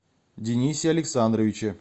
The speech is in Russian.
денисе александровиче